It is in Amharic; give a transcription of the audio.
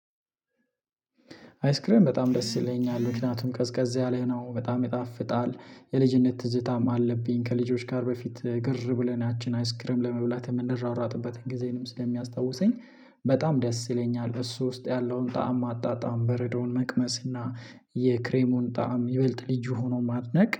አይስክሪም በጣም ደስ ይለኛል ምክንያቱም ቀዝቀዝ ያለህ ነው በጣም ይጣፍጣል የልጅነት ትዝታም አለብኝ። ከልጆች ጋር በፊት ግር ብለን ያቺን አይስክረም ለመብላት የምንረራረጥበትን ጊዜንም ስለሚያስታውሰኝ በጣም ደስ ይለኛል። እሱ ውስጥ ያለውን ጣዕም ማጣጣም በረዶውን መቅመስ እና የክሬሙን ጣዕም ይበልጥ ልዩ ሆኖ ማጥነቅ